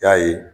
I y'a ye